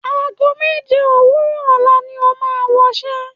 Ago méje òwúrọ̀ ọ̀la ni o máa wọṣẹ́.